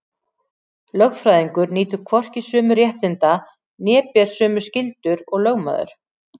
Lögfræðingur nýtur hvorki sömu réttinda né ber sömu skyldur og lögmaður.